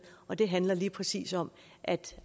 og den handler lige præcis om at